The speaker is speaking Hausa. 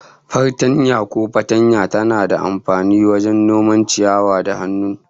Fartanya ko fatanya tana da amfani wajen noman ciyawa da hannu